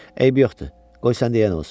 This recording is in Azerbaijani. Eybi yoxdur, qoy səndə yəni olsun.